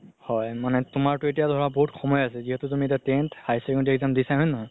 হয় তুমাৰতো এতিয়া ধৰা বহুত সময় আছে যিহেতু তুমি এতিয়া tenth high school exam দিছা হয় নে নহয়